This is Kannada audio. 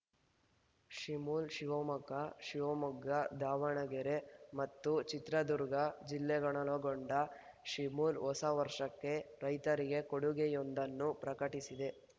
ಶಿಮುಲ್‌ ಶಿವಮೊಗ್ಗ ಶಿವಮೊಗ್ಗ ದಾವಣಗೆರೆ ಮತ್ತು ಚಿತ್ರದುರ್ಗ ಜಿಲ್ಲೆಗಳನ್ನೊಳಗೊಂಡ ಶಿಮುಲ್‌ ಹೊಸ ವರ್ಷಕ್ಕೆ ರೈತರಿಗೆ ಕೊಡುಗೆಯೊಂದನ್ನು ಪ್ರಕಟಿಸಿದೆ